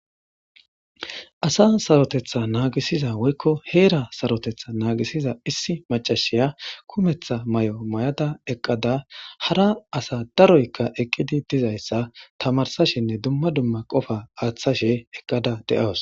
Asa saroteta nagisiza woyko hera saroteta nagisiza issi mac'asiya kumeta mayo mayada eqada hara asayka daroy eqidi dizaysa tamarsashenne duma duma qofa athashe eqada de'awus.